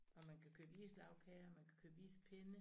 Og man kan købe islagkager og man kan købe ispinde